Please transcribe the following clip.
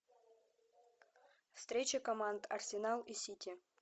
встреча команд арсенал и сити